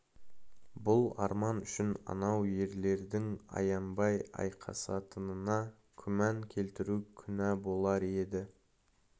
бұл арман үшін анау ерлердің аянбай айқасатынына күмән келтіру күнә болар еді